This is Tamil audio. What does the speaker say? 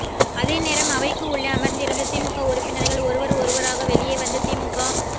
அதேநேரம் அவைக்கு உள்ளே அமர்ந்திருந்த திமுக உறுப்பினர்கள் ஒருவர் ஒருவராக வெளியே வந்து திமுக